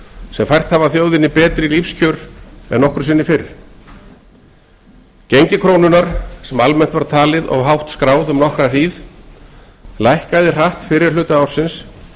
sem fært hafa þjóðinni betri lífskjör en nokkru sinni fyrr gengi krónunnar sem almennt var talið of hátt skráð um nokkra hríð lækkaði hratt fyrri hluta ársins